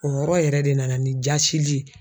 O yɔrɔ yɛrɛ de nana ni jasili ye.